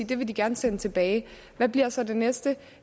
det vil de gerne sende tilbage hvad bliver så det næste